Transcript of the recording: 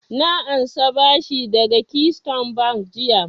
Na ansa bashi daga keystone bank jiya